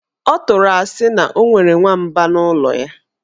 Ọ tụrụ asị na o nwere nwamba n' ụlọ ya.